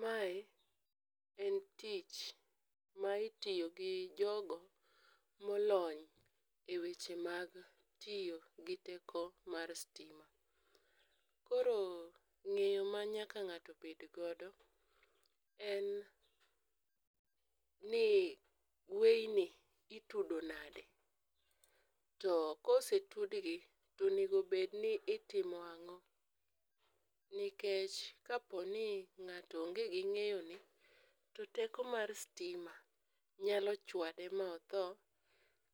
Mae en tich ma itiyo gi jogo molony eweche mag tiyo gi teko mar sitima. Koro ng'eyo ma nyaka ng'ato bed godo en ni weyni itudo nade, to kosetudgi to onego bedni itimo ang'o nikech kaponi ng'ato onge gi ng'eyo ni to teko mar sitima nyalo chuade ma otho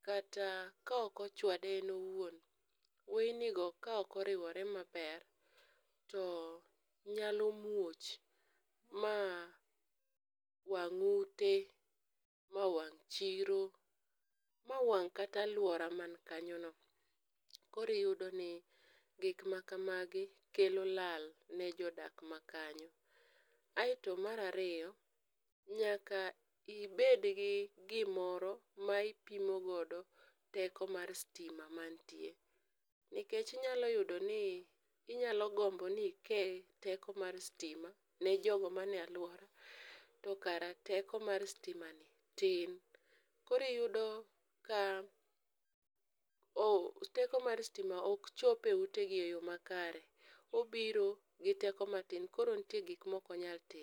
kata ka ok ochwade en owuon to weynigo kaok oriwore maber to nyalo muoch mawang' ute, ma wang' chiro ma wang' kata aluora man kanyono. Koro yudo ni gik makamagi kelo lal ne jodak makanyono. Kaeto mar ariyo nyaka ibed gi gimoro ma ipimo godo teko mar sitima mantie nikech inyalo yudo ni inyalo gombo ni ikel teko mar sitima nijogo man e aluora tokara teko mar sitimani tin, koro iyudo ka teko mar sitimani ok chop eutegi eyo makare, obiro gi teko matin koro nitie gik moko maok onyal timo.